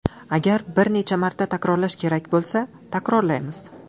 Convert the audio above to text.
Agar bir necha marta takrorlash kerak bo‘lsa, takrorlaymiz.